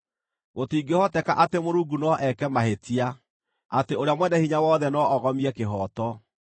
Gũtingĩhoteka atĩ Mũrungu no eeke mahĩtia, atĩ ũrĩa Mwene-Hinya-Wothe no ogomie kĩhooto.